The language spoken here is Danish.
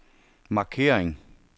markering